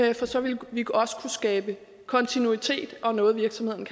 det for så vil vi også kunne skabe kontinuitet og noget virksomhederne